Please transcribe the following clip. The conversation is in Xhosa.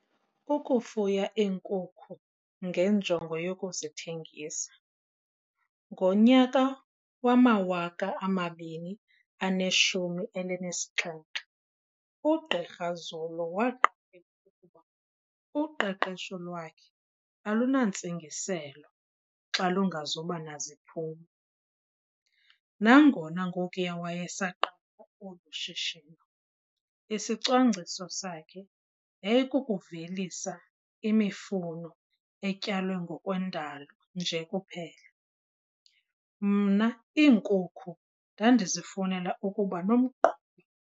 Ukufuya iinkukhu ngenjongo yokuzithengisa. "Ngonyaka wama-2017, uGqr Zulu waqaphela ukuba uqeqesho lwakhe alunantsingiselo xa lungazuba naziphumo. Nangona ngokuya wayesaqala olu shishino, isicwangciso sakhe yayikukuvelisa imifuno etyalwe ngokwendalo nje kuphela."Mna iinkukhu ndandizifunela ukuba nomgquba."